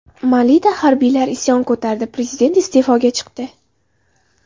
Malida harbiylar isyon ko‘tardi, prezident iste’foga chiqdi.